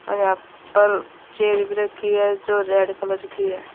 और यहां पर चेयर भी रखी है जो रेड कलर की है।